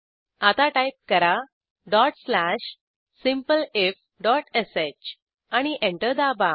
आता टाईप करा dot slash simpleifश एंटर दाबा